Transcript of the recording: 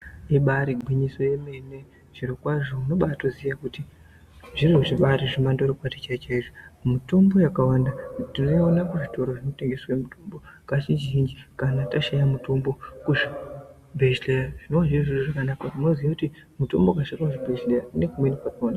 Ibari gwinyiso emene zvirokwazvo unobaatoziya kuti zviro zvibatori zvemandorokwati chaizvo , mitombo yakawanda tinoiona kuzvitoro zvinotengeswe mitombo kazhinji kana tashaya mutombo uyu kuchibhedhleya zvona izvozvo unoziya kuti mutombo wakashaika kuzvibhedhleya unoende kumweni kwakhona.